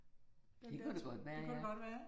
Den der, tror, det kunne det godt være ik